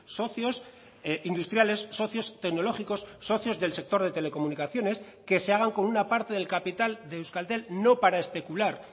socios industriales socios tecnológicos socios del sector de telecomunicaciones que se hagan con una parte del capital de euskaltel no para especular